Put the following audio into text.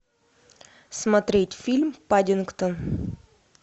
смотреть фильм паддингтон